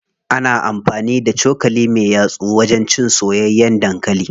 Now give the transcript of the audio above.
Ana amfani da cokali me yatsu wajen cin soyayyen dankali.